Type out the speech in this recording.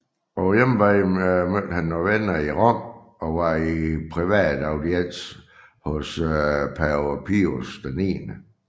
På hjemvejen mødte han venner i Rom og var i privat audiens hos pave Pius 9